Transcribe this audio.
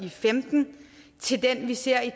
og femten til den vi ser i